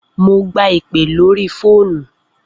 Mo gba ìpè lórí ní orí fóònù.